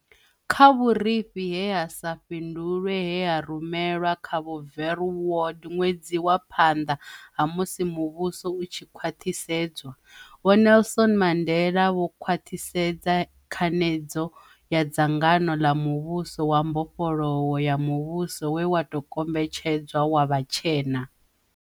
Kha vhurifhi he ha sa fhi ndulwe he ha rumelwa kha Vho Verwoerd ṅwedzi wa phanḓa ha musi muvhuso u tshi khwaṱhisedzwa, Vho Nelson Mandela vho khwaṱhisedza khanedzo ya dzangano ḽa muvhuso wa mbofholowo ya muvhuso we wa tou kombetshedzwa wa vhatshena.